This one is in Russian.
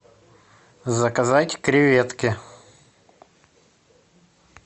заказать креветки